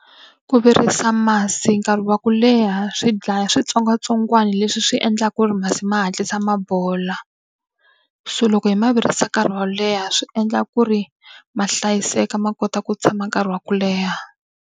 Ku virisa masi nkarhi wa ku leha swi dlaya switsongwatsongwana leswi swi endlaka ku ri masi ma hatlisa ma bola. So loko hi ma virisa nkarhi wo leha swi endla ku ri ma hlayiseka ma kota ku tshama nkarhi wa ku leha.